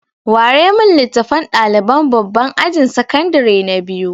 Ware min littafan ɗaliban babban ajin sakandare na biyu!